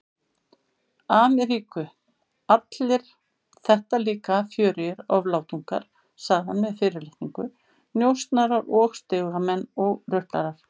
Ameríku, allir þetta líka fjörugir oflátungar, sagði hann með fyrirlitningu, njósnarar og stigamenn og ruplarar.